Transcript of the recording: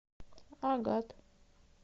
агат